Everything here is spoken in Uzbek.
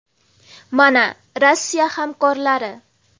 Mana Rossiya hamkorlari.